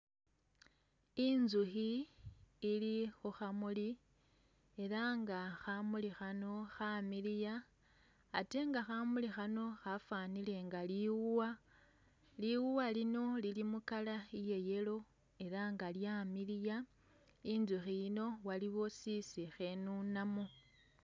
Inzukhi ili khu khamuli ela nga khamuli khano khamiliya, ate nga khamuli khano khafanile nga liwuwa, liwuwa lino lili mu color iye yellow ela nga lyamiliya, inzukhi yino waliwo sisi khenunamo